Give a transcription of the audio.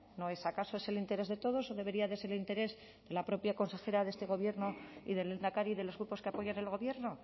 no es acaso ese el interés de todos o debería de ser de interés de la propia consejera de este gobierno y del lehendakari y de los grupos que apoyan al gobierno